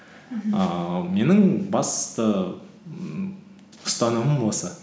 мхм ііі менің басты ммм ұстанымым осы